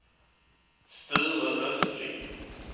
Sture Östling